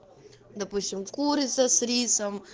допустим курица с рисом